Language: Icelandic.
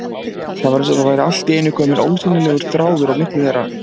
Það var eins og það væri allt í einu kominn ósýnilegur þráður á milli þeirra.